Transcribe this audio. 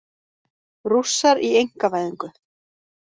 Rússar í einkavæðingu